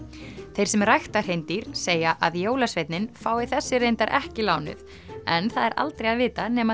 þeir sem rækta hreindýr segja að jólasveinninn fái þessi reyndar ekki lánuð en það er aldrei að vita nema